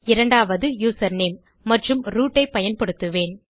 இரண்டாவது யூசர்நேம் மற்றும் ரூட் ஐ பயன்படுத்துவேன்